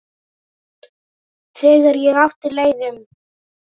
Þegar ég átti leið um